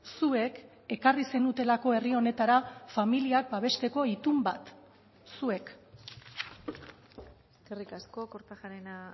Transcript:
zuek ekarri zenutelako herri honetara familiak babesteko itun bat zuek eskerrik asko kortajarena